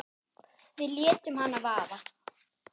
Við létum hana vaða.